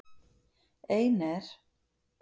Ein er